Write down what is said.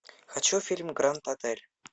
хочу фильм гранд отель